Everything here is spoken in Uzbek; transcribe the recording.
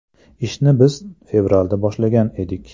Ishni biz fevralda boshlagan edik.